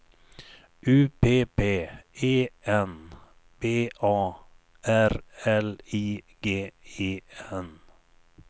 U P P E N B A R L I G E N